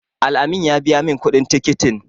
Al-amin ya biya min kuɗin tikitin.